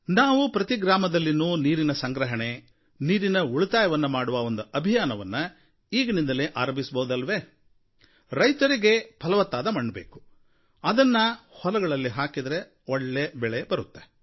ನಾವು ಪ್ರತಿ ಗ್ರಾಮದಲ್ಲಿಯೂ ನೀರಿನ ಸಂಗ್ರಹಣೆ ನೀರಿನ ಉಳಿತಾಯವನ್ನು ಮಾಡುವ ಒಂದು ಅಭಿಯಾನವನ್ನು ಈಗಿನಿಂದಲೇ ಆರಂಭಿಸಬಹುದೇ ರೈತರಿಗೆ ಫಲವತ್ತಾದ ಮಣ್ಣು ಬೇಕು ಅದನ್ನು ಹೊಲಗಳಲ್ಲಿ ಹಾಕಿದರೆ ಒಳ್ಳೆ ಬೆಳೆ ಬರುತ್ತೆ